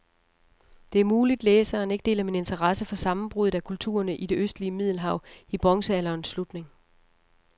Det er muligt, læseren ikke deler min interesse for sammenbruddet af kulturerne i det østlige middelhav i bronzealderens slutning.